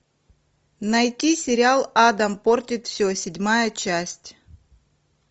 найти сериал адам портит все седьмая часть